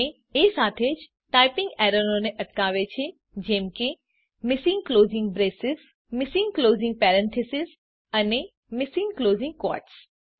અને એ સાથે જ ટાઈપીંગ એરરોને અટકાવે છે જેમ કે missing closing braces missing closing parenthesis અને મિસિંગ ક્લોઝિંગ ક્વોટ્સ